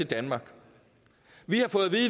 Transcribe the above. danmark